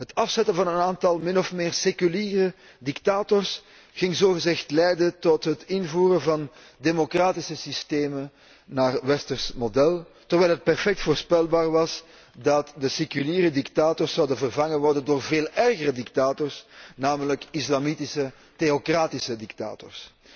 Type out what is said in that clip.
Het afzetten van een aantal min of meer seculiere dictators ging zogezegd leiden tot het invoeren van democratische systemen naar westers model, terwijl het perfect voorspelbaar was dat de seculiere dictators zouden worden vervangen door veel ergere dictators, namelijk islamitische theocratische dictators.